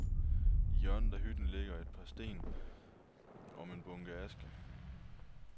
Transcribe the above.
I hjørnet af hytten ligger et par sten om en bunke aske.